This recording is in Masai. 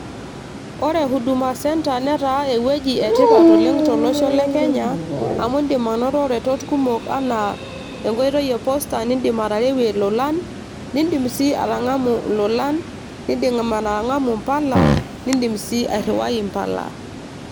Ore huduma centre netaa ewueji etipat oleng tolosho le kenya amu indim anoto iretot kumok anaa enkoitoi e posta nindim atarewie ilolan nindim sii atang'amu ilolan nindim atang'amu impala nindim sii airriwai impala.